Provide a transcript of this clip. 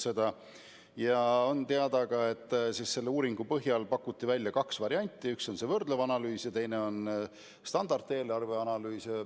Teada on seegi, et selle uuringu põhjal pakuti välja kaks varianti, üks on võrdlev analüüs ja teine on standardeelarve analüüs.